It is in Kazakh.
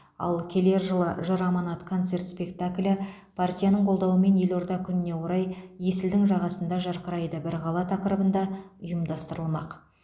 ал келер жылы жыр аманат концерт спектаклі партияның қолдауымен елорда күніне орай есілдің жағасында жарқырайды бір қала тақырыбында ұйымдастырылмақ